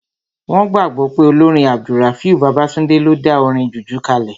Wọ́n gbàgbọ́ pé olórin AbdulRafiu Babatunde ló dá orin jùjú kalẹ̀